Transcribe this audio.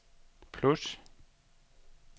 plus